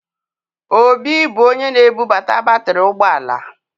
Obi bụ onye na-ebubata batrị ụgbọ ala.